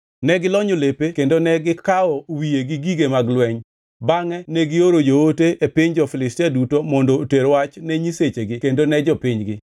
Ne gilonyo lepe kendo ne gikaw wiye gi gige mag lweny, bangʼe negioro joote e piny jo-Filistia duto mondo oter wach ne nyisechegi kendo ni jopinygi.